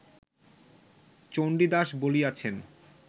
Chandidas বলিয়াছেন